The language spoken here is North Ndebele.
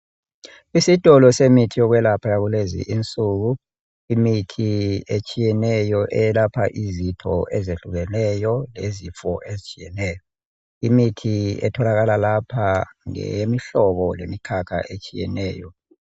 Isitolo semithi yokwelapha yakulezinsuku. Imithi etshiyeneyo eyelapha izitho ezehlukeneyo lezifo ezitshiyeneyo. Imithi etholakala lapha ngeyemihlobo lemikhakha etshiyeneyo.